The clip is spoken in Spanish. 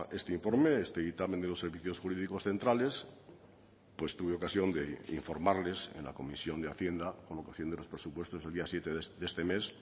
este informe este dictamen de los servicios jurídicos centrales tuve ocasión de informarles en la comisión de hacienda con ocasión de los presupuestos el día siete de este mes